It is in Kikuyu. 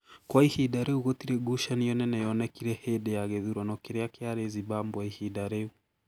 Kwa ihinda rĩu gũtirĩ ngucanio nene yonekire hĩndĩ ya gĩthurano kĩrĩa kĩarĩ Zimbabwe ihinda rĩu.